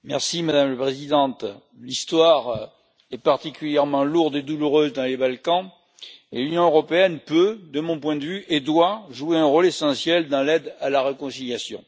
Madame la Présidente, l'histoire est particulièrement lourde et douloureuse dans les Balkans, et l'Union européenne peut, de mon point de vue, et doit jouer un rôle essentiel dans l'aide à la réconciliation.